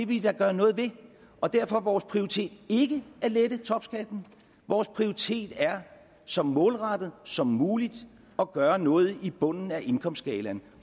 vi da gøre noget ved og derfor er vores prioritet ikke at lette topskatten vores prioritet er så målrettet som muligt at gøre noget i bunden af indkomstskalaen